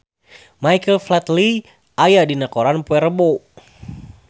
Michael Flatley aya dina koran poe Rebo